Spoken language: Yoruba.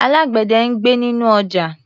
Alágbẹ̀dẹ̀ ń gbẹ́ inú ọjà.